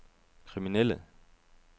kriminelle